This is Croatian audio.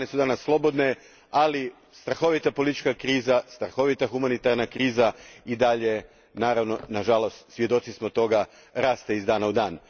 Kobane je danas slobodan, ali strahovita politička kriza, strahovita humanitarna kriza i dalje, na žalost svjedoci smo toga, raste iz dana u dan.